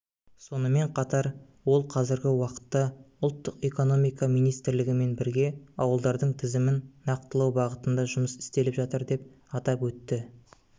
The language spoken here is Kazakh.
сонымен қатар ол қазіргі уақытта ұлттық экономика министрлігімен бірге ауылдардың тізімін нақтылау бағытында жұмыс істеліп жатыр деп атап өтті